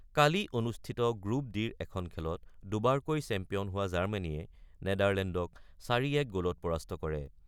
কালি অনুষ্ঠিত গ্ৰুপ ডিৰ এখন খেলত দুবাৰকৈ চেম্পিয়ন হোৱা জাৰ্মানীয়ে নেডাৰলেণ্ডক ৪-১ গ'লত পৰাস্ত কৰে।